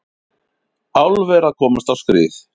Álver að komast á skrið